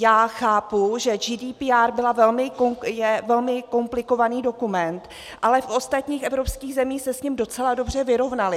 Já chápu, že GDPR je velmi komplikovaný dokument, ale v ostatních evropských zemích se s ním docela dobře vyrovnali.